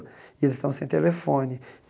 E eles estão sem telefone.